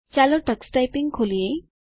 ચાલો Tux typing ખોલીએ